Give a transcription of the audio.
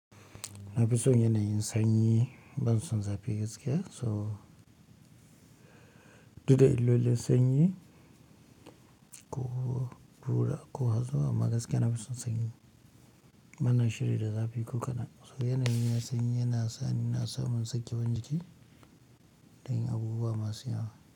Nafi son yana yin sanyi, ban son zafi gaskiya. So, duda illolin sanyi ko ƙura ko hazo amma gaskiya nafi son sanyi. Bana shirkyi da zafi ko kana? So yanayin na sanyi yana sa ni na samu sake wan jiki da yin abubuwa masu yawa.